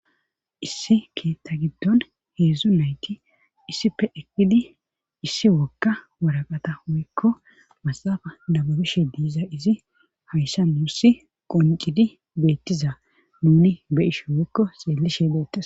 issi keetta giddon heedzdzu nayti issife ekkidi issi wogka waraqata woykko masafa dababishe diiza izi hayssa muussi qoncidi beettiza nuni beyishe woykko xeellishe beettes